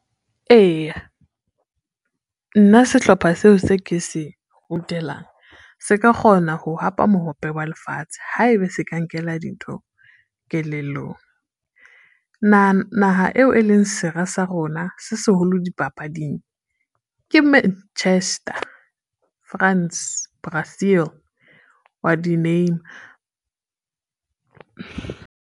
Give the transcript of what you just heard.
Eya, nna sehlopha seo se ke se se ka kgona ho hapa mohope wa Lefatshe, haebe se ka nkela dintho kelellong. Naha eo e leng sera sa rona se seholo dipapading ke Manchester, France, Brazil wa di-name-a.